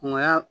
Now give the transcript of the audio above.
Ŋo ya